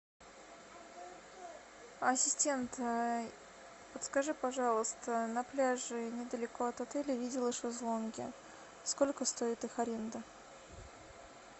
ассистент подскажи пожалуйста на пляже недалеко от отеля видела шезлонги сколько стоит их аренда